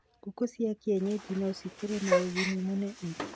Ngũkũ cia kĩenyanji no cikorwo na ũguni mũnene